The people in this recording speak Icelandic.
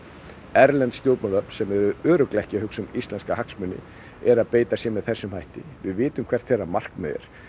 erlend stjórnmálaöfl sem eru örugglega ekki að hugsa um íslenska hagsmuni eru að beita sér með þessum hætti við vitum hvert þeirra markmið er